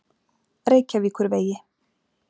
Reykjavíkurvegi